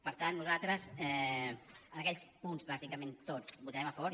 per tant nosaltres en aquells punts bàsicament tots hi votarem a favor